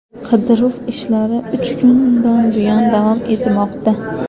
Qidiruv ishlari uch kundan buyon davom etmoqda.